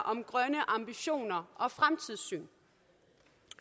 om grønne ambitioner og fremtidssyn